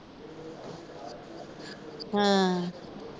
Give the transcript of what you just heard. ਹਮ